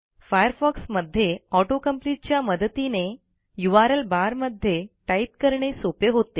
Firefox मध्ये auto complete च्या मदतीने यूआरएल बारमध्ये टाईप करणे सोपे होते